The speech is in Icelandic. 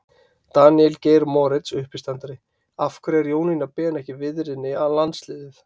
Daníel Geir Moritz, uppistandari: Af hverju er Jónína Ben ekki viðriðin landsliðið?